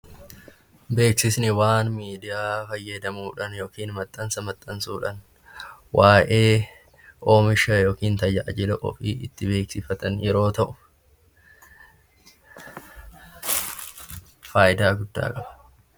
Beeksisni waan miidiyaa fayyadamuudhaan yookiin maxxansa maxxansuudhaan waa'ee oomisha yookiin tajaajila ofii itti beeksifatan yeroo ta'u; innis faayidaa guddaa qaba.